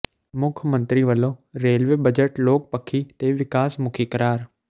ਮੁੱਖ ਮੰਤਰੀ ਵੱਲੋਂ ਰੇਲਵੇ ਬਜਟ ਲੋਕ ਪੱਖੀ ਤੇ ਵਿਕਾਸ ਮੁਖੀ ਕਰਾਰ